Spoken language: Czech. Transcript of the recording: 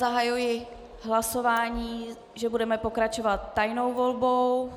Zahajuji hlasování, že budeme pokračovat tajnou volbou.